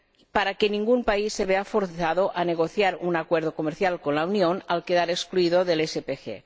para que ningún país se vea forzado a negociar un acuerdo comercial con la Unión al quedar excluido del SPG.